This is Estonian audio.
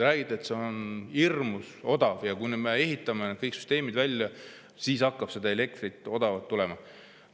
Räägiti, et see on hirmus odav ja kui me ehitame kõik süsteemid välja, siis hakkab seda odavat elektrit tulema.